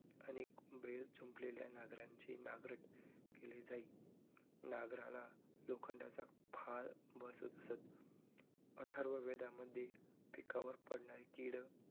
अनेक बैल जुंपलेल्या नांगराची नांगरट केली जाई. नांगराला लोखंडचा फाळ बसवत असतं. अथर्ववेदामध्ये पिकावर पडणारी कीड